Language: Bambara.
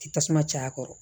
Tasuma caaya a kɔrɔ